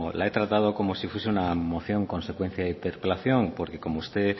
la he tratado como si fuese una moción consecuente de interpelación porque como usted